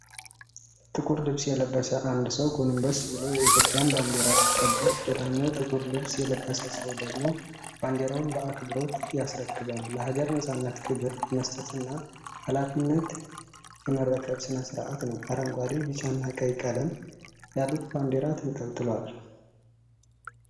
ጥቁር ልብስ የለበሰ አንድ ሰው ጎንበስ ብሎ የኢትዮጵያን ባንዲራ ሲቀበል፣ ሌላኛው ጥቁር ልብስ የለበሰ ሰው ደግሞ ባንዲራውን በአክብሮት ያስረክብባል። ለሀገር *ነፃነት* ክብር የመስጠትና ኃላፊነት የመረከብ ስነስርአት ነው። አረንጓዴ፣ ቢጫና ቀይ ቀለሞች ያሉት ባንዲራ ተንልጥሏል።